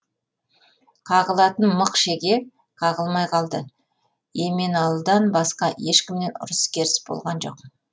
қағылатын мық шеге қағылмай қалды еменалыдан басқа ешкіммен ұрыс керіс болған жоқ